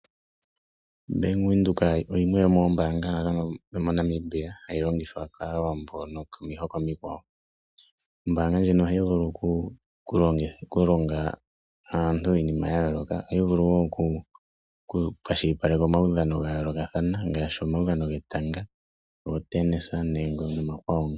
Bank Windhoek yimwe yomoombaanga dhomoNamibia hayi longithwa kAawambo nokomihoko omikwawo. Ombaanga ndjino ohayi vulu okulonga aantu iinima ya yooloka. Ohayi vulu okukwashilipaleka omaudhano ga yoolokathana ngaashi omaudhano getanga, ootennis nomakwawo.